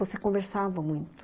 Você conversava muito.